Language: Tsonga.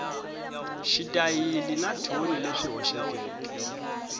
xitayili na thoni leswi hoxekeke